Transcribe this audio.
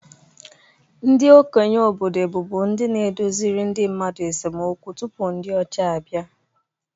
Ndị okenye obodo bụbu ndi na-edoziri ndị mmadu esemokwu tupu ndị ọcha abịa